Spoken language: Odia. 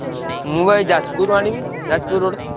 ମୁଁ ବା ଏଇ ଯାଜପୁରରୁ ଆଣିବି। ଯାଜପୁର road